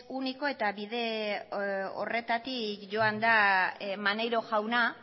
único eta bide horretatik joan da maneiro jauna